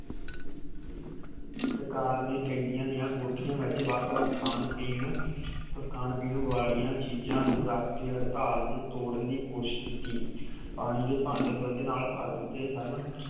ਸਰਕਾਰ ਨੇ ਕੈਦੀਆਂ ਦੀਆ ਕੋਠੀਆਂ ਵਿਚ ਵੱਖ ਵੱਖ ਖਾਣ ਪੀਣ ਵਾਲਿਆਂ ਚੀਜ ਨੂੰ ਰੱਖ ਕੇ ਹੜਤਾਲ ਨੂੰ ਤੋੜਾਂ ਦੀ ਕੋਸ਼ਿਸ਼ ਕੀਤੀ। ਪਾਣੀ ਦੇ ਭਾਂਡੇ ਦੁੱਧ ਨਾਲaa ਭਰ ਦਿਤੇ ਸਨ